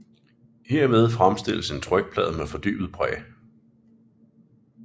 Herved fremstilles en trykplade med fordybet præg